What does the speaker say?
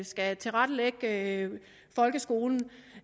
skal tilrettelægge folkeskolen